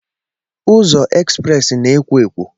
Ụzọ ekspresị na-ekwò ekwó.